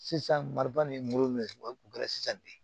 Sisan mariba ni n ko mɛ o tun kɛra sisan de